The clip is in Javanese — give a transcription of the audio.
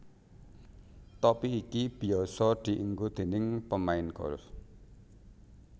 Topi iki biyasa dienggo déning pemain golf